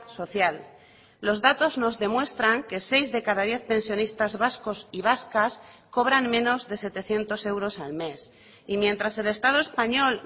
social los datos nos demuestran que seis de cada diez pensionistas vascos y vascas cobran menos de setecientos euros al mes y mientras el estado español